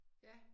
Ja